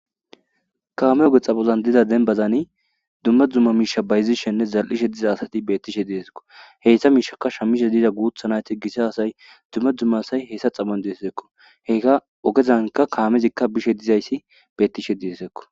kaame oge xapozan dida denbazani dumma dzumma miisha bayzishenne zal7ishe diza asati bettishe deesekko heysha miishaka shammishe diiza guuthanayti gise asay dumme dzumma asay heyssa xaban deesekko heka ogezanka kaamezikka bishe dizayssi bettishe diesekko